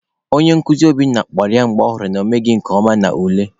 Onye nkuzi Obinna kpọrọ ya mgbe ọ hụrụ na ọ emeghị nke ọma n'ule.